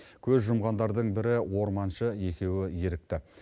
көз жұмғандардың бірі орманшы екеуі ерікті